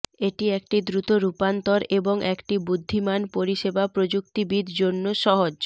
এটি একটি দ্রুত রূপান্তর এবং একটি বুদ্ধিমান পরিষেবা প্রযুক্তিবিদ জন্য সহজ